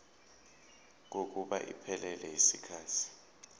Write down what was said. kokuba iphelele yisikhathi